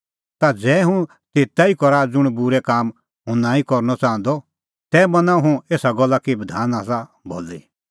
तै ज़ै हुंह तेता ई करा ज़ुंण बूरै काम हुंह नांईं करनअ च़ाहंदअ तै मना हुंह एसा गल्ला कि बधान आसा भली